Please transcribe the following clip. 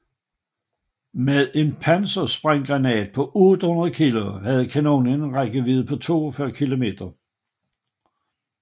Med en pansersprænggranat på 800 kg havde kanonen en rækkevidde på 42 km